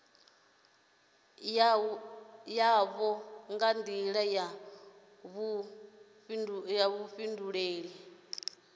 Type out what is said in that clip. yoṱhe nga nḓila ya vhuḓifhinduleli